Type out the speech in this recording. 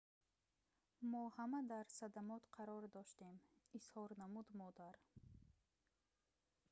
мо ҳама дар садамот қарор доштем изҳор намуд модар